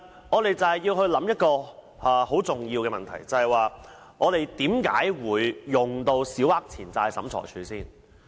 我們必須考慮一個很重要的問題，就是市民在甚麼情況下會利用審裁處。